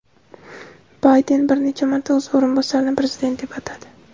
Bayden bir necha marta o‘z o‘rinbosarini prezident deb atadi.